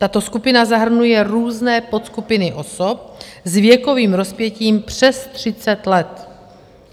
Tato skupina zahrnuje různé podskupiny osob s věkovým rozpětím přes 30 let.